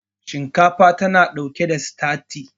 shinkafa tana ɗauke da stati